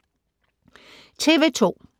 TV 2